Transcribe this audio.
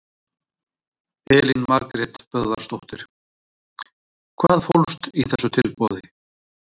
Elín Margrét Böðvarsdóttir: Hvað fólst í þessu tilboði?